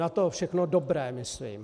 Na to všechno dobré, myslím.